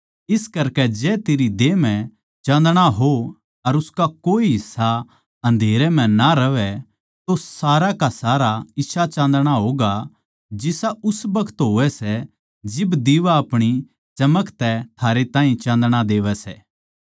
इस करकै जै तेरी देह म्ह चाँदणा हो अर उसका कोए हिस्सा अन्धेरे म्ह ना रहवैं तो सारा का सारा इसा चाँदणा होगा जिसा उस बखत होवै सै जिब दिवा अपणी चमक तै थारै ताहीं चाँदणा देवै सै